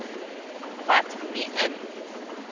wat nie in